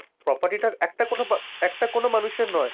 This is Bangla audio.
property টার একটা কোণও একটা কোণও মানুষের নয়।